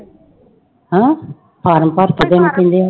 ਹਨਾ ਫਾਰਮ ਭਰਕੇ ਦੇਣੇ ਪੈਂਦੇ ਹੈ।